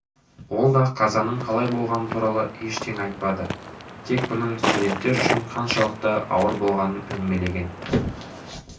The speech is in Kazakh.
ол да қазаның қалай болғаны туралы ештеңе айтпады тек бұның студенттер үшін қаншалықты ауыр болғанын әңгімелеген